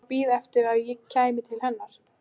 Var hún að bíða eftir að ég kæmi til hennar?